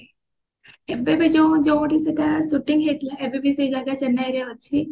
ଏବେ ବି ଯୋଉ ଯୋଉଠି ସେଟା shooting ହେଇଥିଲା ଏବେ ବି ସେ ଜାଗା ଚେନ୍ନାଇ ରେ ଅଛି